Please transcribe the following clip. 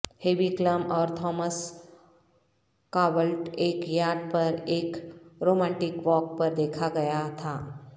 heavy Klum اور Thomas Kaulitz ایک yacht پر ایک رومانٹک واک پر دیکھا گیا تھا